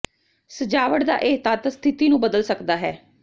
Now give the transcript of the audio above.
ਸਜਾਵਟ ਦਾ ਇਹ ਤੱਤ ਸਥਿਤੀ ਨੂੰ ਬਦਲ ਸਕਦਾ ਹੈ